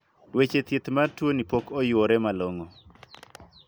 Weche thieth mar tuo ni pok oyuore malong'o.